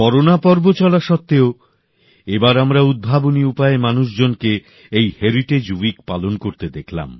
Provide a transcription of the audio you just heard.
corona পর্ব চলা সত্ত্বেও এবার আমরা উদ্ভাবনী উপায়ে মানুষজনকে এই হেরিটেজ উইক পালন করতে দেখলাম